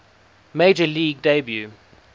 major league debut